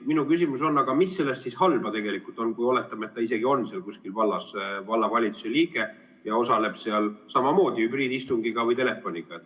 Minu küsimus on: aga mis selles siis halba on, kui oletame, et ta on seal kuskil vallas vallavalitsuse liige ja osaleb seal samamoodi hübriidistungi või telefoni teel?